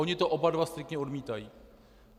Oni to oba dva striktně odmítají.